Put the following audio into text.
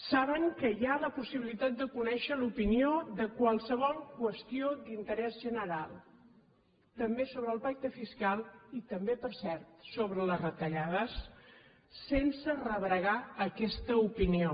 saben que hi ha la possibilitat de conèixer l’opinió de qualsevol qüestió d’interès general també sobre el pacte fiscal i també per cert sobre les retallades sense rebregar aquesta opinió